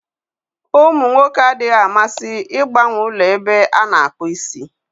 Ụmụ nwoke adịghị amasị ịgbanwe ụlọ ebe a na-akpụ isi.